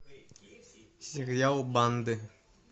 сериал банды